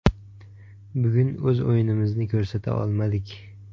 Bugun o‘z o‘yinimizni ko‘rsata olmadik.